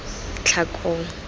tlhakong